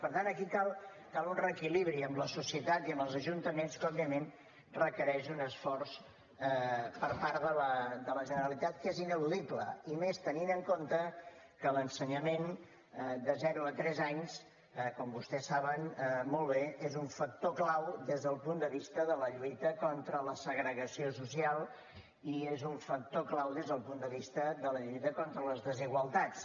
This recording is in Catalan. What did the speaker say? per tant aquí cal un reequilibri amb la societat i amb els ajuntaments que òbviament requereix un esforç per part de la generalitat que és ineludible i més tenint en compte que l’ensenyament de zero a tres anys com vostès saben molt bé és un factor clau des del punt de vista de la lluita contra la segregació social i és un factor clau des del punt de vista de la lluita contra les desigualtats